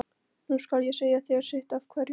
Nú skal ég segja þér sitt af hverju.